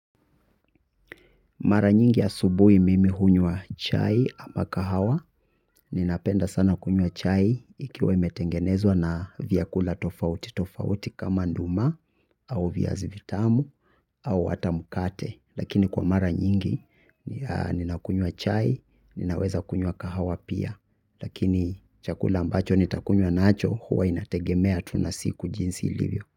Mara nyingi asubuhi mimi hunywa chai ama kahawa, ninapenda sana kunywa chai ikiwa imetengenezwa na vyakula tofauti tofauti kama nduma au viazi vitamu au hata mkate. Lakini kwa mara nyingi, ninakunywa chai, ninaweza kunywa kahawa pia. Lakini chakula ambacho nitakunywa nacho huwa inategemea tu na siku jinsi ilivyo.